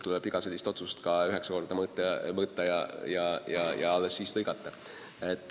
Iga sellist otsust tuleb üheksa korda mõõta ja alles siis lõigata.